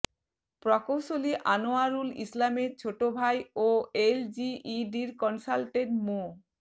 প্রকৌশলী আনোয়ারুল ইসলামের ছোট ভাই ও এলজিইডির কনসালটেন্ট মো